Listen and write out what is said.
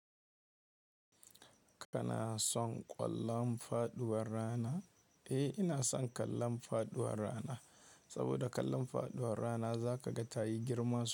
Kana son ƙwallon faɗuwar rana? Eh, ina son ƙallon faduwar rana. Saboda ƙallon faduwar rana zaka ga tayi girma sosai.